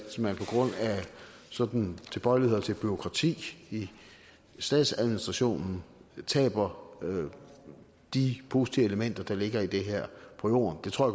sådanne tilbøjeligheder til bureaukrati i statsadministrationen taber de positive elementer der ligger i det her på jorden det tror